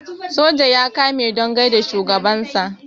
soja ya kame don gaida shugabansa